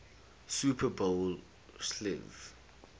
super bowl xliv